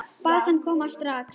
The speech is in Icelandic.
Bað hana að koma strax.